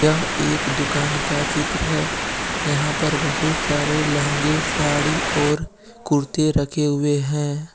यह एक दुकान का चित्र है यहां पर बहुत सारे लहंगे साड़ी और कुर्ते रखे हुए हैं।